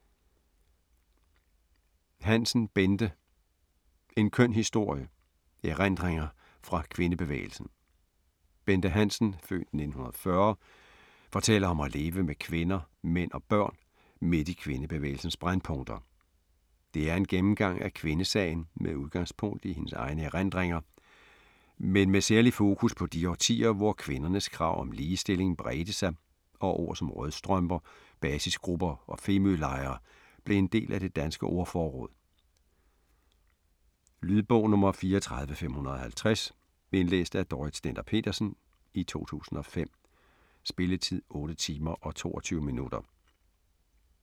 Hansen, Bente: En køn historie: erindringer fra kvindebevægelsen Bente Hansen (f. 1940) fortæller om at leve med kvinder, mænd og børn midt i kvindebevægelsens brændpunkter. Det er en gennemgang af kvindesagen med udgangspunkt i hendes egne erindringer, men med særligt fokus på de årtier, hvor kvindernes krav om ligestilling bredte sig og ord som rødstrømper, basisgrupper og femølejre blev en del af det danske ordforråd. Lydbog 34550 Indlæst af Dorrit Stender-Petersen, 2005. Spilletid: 8 timer, 22 minutter.